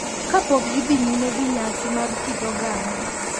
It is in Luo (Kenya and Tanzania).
Kapok gidhi nyime gi nyasi mag kit oganda.